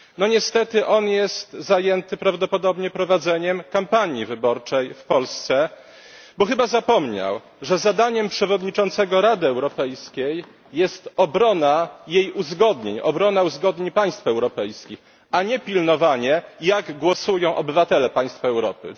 Niestety jest on zajęty prawdopodobnie prowadzeniem kampanii wyborczej w Polsce, bo chyba zapomniał, że zadaniem przewodniczącego Rady Europejskiej jest obrona jej uzgodnień, obrona uzgodnień państw europejskich, a nie pilnowanie, jak głosują obywatele państw Europy.